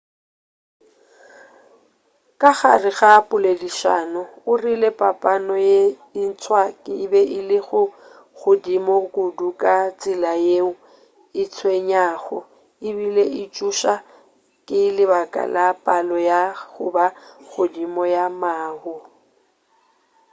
ka gare ga poledišano o rile papano ye ntswa e be e le godimo kudu ka tsela yeo e tswenyago ebile e tšoša ka lebaka la palo ya go ba godimo ya mahu